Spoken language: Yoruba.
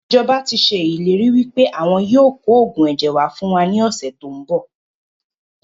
Ìjọba tíì ṣe ìlérí wípé àwọn yìí ó kò oògùn ẹ̀jẹ̀ wá fún wa ní ọ̀sẹ̀ tòun bọ̀